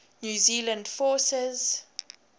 new zealand forces